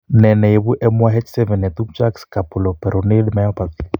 Ne ne ibu MYH7 ne tupcho ak scapuloperoneal myopathy?